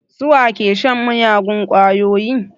Su wa ke shan miyagun ƙwayoyi?